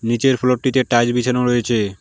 নীচের ফ্লোর -টিতে টাইলস বিছানো রয়েছে।